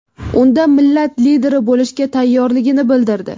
Unda millat lideri bo‘lishga tayyorligini bildirdi.